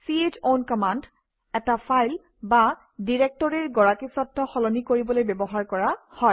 c হ own command এটা file বা ডিৰেক্টৰীৰ গৰাকীস্বত্ত্ব সলনি কৰিবলৈ ব্যৱহাৰ কৰা হয়